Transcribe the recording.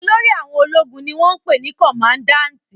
Olórí àwọn ológun ni wọ́n ń pè ní kọmadáǹtì